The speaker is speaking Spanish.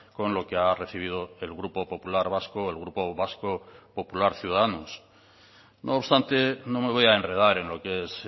con lo que ha recibido el grupo popular vasco o el grupo vasco popular ciudadanos no obstante no me voy a enredar en lo que es